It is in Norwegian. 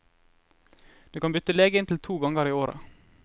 Du kan bytte lege inntil to ganger i året.